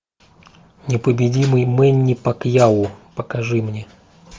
непобедимый мэнни пакьяо покажи мне